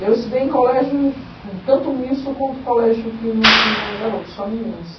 Eu estudei em colégios, tanto misto quanto colégio que não tinha garoto, só meninas.